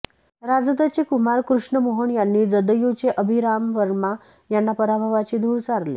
राजदचे कुमार कृष्ण मोहन यांनी जदयुचे अभिराम वर्मा यांना पराभवाची धूळ चारली